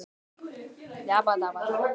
Ég verð að fara heim með mömmu.